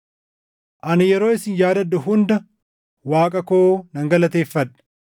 Ani yeroo isin yaadadhu hunda Waaqa koo nan galateeffadha.